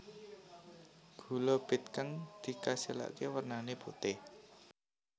Gula bit kang dikasilaké wernané putih